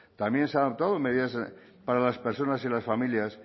también se han adoptado medidas para las personas y las familias